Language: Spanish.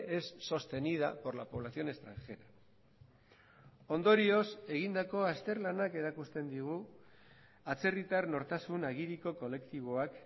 es sostenida por la población extranjera ondorioz egindako azterlanak erakusten digu atzerritar nortasun agiriko kolektiboak